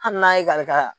Hali n'a ye kari ka